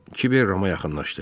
Kiber Rama yaxınlaşdı.